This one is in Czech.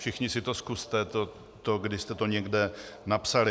Všichni si to zkuste, to, kdy jste to někde napsali.